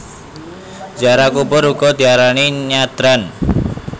Ziarah kubur uga diarani nyadran